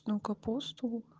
но капусту